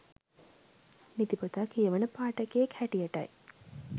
නිතිපතා කියවන පාඨකයෙක් හැටියටයි